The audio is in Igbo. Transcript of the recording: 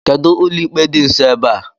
Kedụ ụlọikpe dị nsọ ebe a?